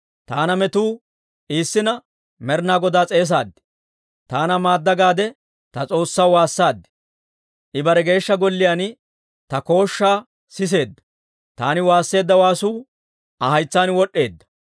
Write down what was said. Taana metuu iissina Med'inaa Godaa s'eesaad; ‹Taana maadda› gaade ta S'oossaw waassaad. I bare Geeshsha Golliyaan ta kooshshaa siseedda; taani waasseedda waasuu Aa haytsaan wod'd'eedda.